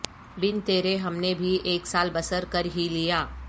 بن ترے ہم نے بھی اک سال بسر کر ہی لیا